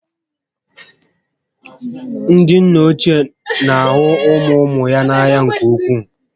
Ndị nna ochie na ahụ ụmụ ụmụ ha n'anya nke ukwuu